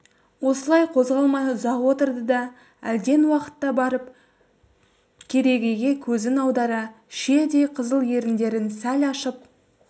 осылай қозғалмай ұзақ отырды да әлден уақытта барып керегеге көзін аудара шиедей қызыл еріндерін сәл ашып